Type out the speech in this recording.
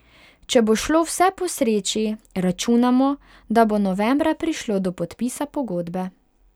Če bo šlo vse po sreči, računamo, da bo novembra prišlo do podpisa pogodbe.